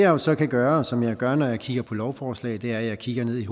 jo så kan gøre og som jeg gør når jeg kigger på lovforslag er at jeg kigger ned i